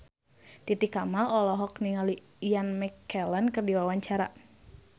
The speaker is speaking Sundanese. Titi Kamal olohok ningali Ian McKellen keur diwawancara